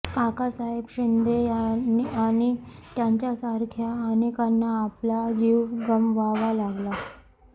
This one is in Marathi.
काकासाहेब शिंदे आणि त्यांच्यासारख्या अनेकांना आपला जीव गमवावा लागला